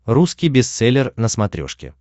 русский бестселлер на смотрешке